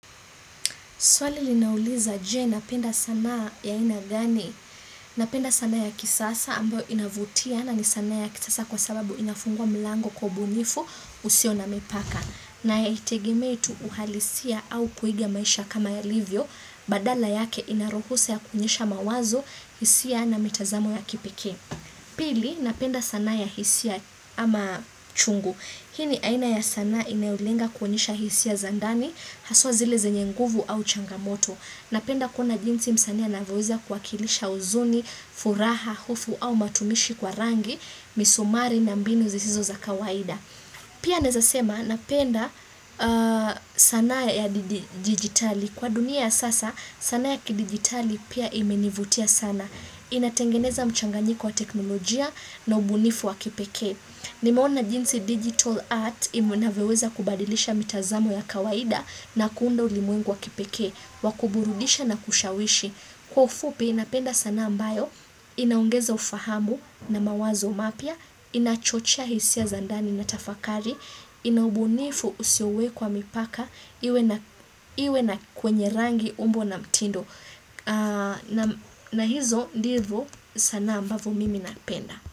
Swali linauliza je napenda sanaa ya aina gani. Napenda sanaa ya kisasa ambayo inavutia na ni sana ya kisasa kwa sababu inafungua mlango kwa ubunifu usio na mipaka. Na ya haitegemei tu uhalisia au kuiga maisha kama yalivyo badala yake inaruhusa ya kuonyesha mawazo hisia na mitazamo ya kipekee. Pili napenda sanaa ya hisia ama chungu. Hii ni aina ya sanaa inayolenga kuonyesha hisia za ndani, haswa zile zenye nguvu au changamoto. Napenda kuona jinsi msanii anavyoweze kuwa kilisha huzuni, furaha, hofu au matumishi kwa rangi, misumari na mbinu zisizo za kawaida. Pia nawezasema napenda sanaa ya digitali. Kwa dunia sasa sanaa ya kidigitali pia imenivutia sana. Inatengeneza mchanganyiko wa teknolojia na ubunifu wa kipekee. Nimeona jinsi digital art inavyoweza kubadilisha mitazamo ya kawaida na kuunda ulimwengu wa kipekee, wakuburudisha na kushawishi. Kwa ufupi napenda sanaa ambayo, inaongeza ufahamu na mawazo mapya, inachochea hisia za ndani na tafakari, ina ubunifu usio wekwa mipaka, iwe na kwenye rangi umbo na mtindo. Na hizo, ndivo sanaa ambavo mimi napenda.